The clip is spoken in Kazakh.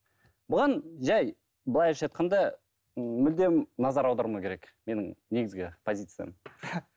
бұған жай былайша айтқанда ы мүлдем назар аудармау керек менің негізгі позициям